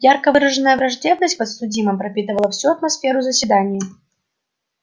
ярко выраженная враждебность к подсудимым пропитывала всю атмосферу заседания